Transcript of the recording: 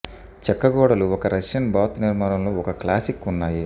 చెక్క గోడలు ఒక రష్యన్ బాత్ నిర్మాణంలో ఒక క్లాసిక్ ఉన్నాయి